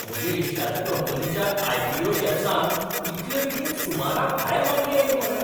म्हज्या इश्टाच्या कंपनीच्या आय. पी. ओ. शॅर्सांक इतले बेगीन सुमराभायर मागणी आयली मरे!